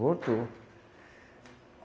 Voltou.